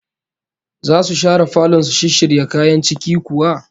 Zasu share falon su shisshirya kayan ciki kuwa?